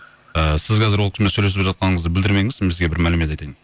і сіз қазір ол кісімен сөйлесіп жатқаныңызды білдірмеңіз мен сізге бір мәлімет айтайын